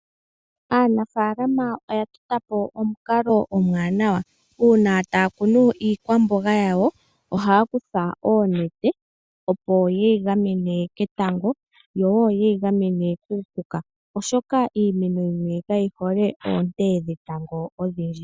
Aanafalama oya tota po omukalo omuwanawa uuna taya kunu iikwamboga yawo ohaya kutha oonenete opo yeyi gamene ketango oshowo kuupuka oshoka iimeno yimwe kayi hole oonte dhetango odhindji.